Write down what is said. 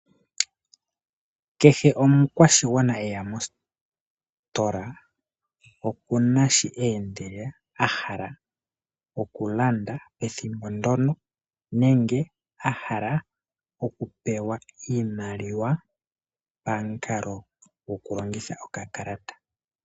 Kehe omukwashigwana heya mositola oku na shi eendela, a hala oku landa ethimbo ndono nenge a hala oku pewa iimaliwa pamukalo gwoku longitha okakalata.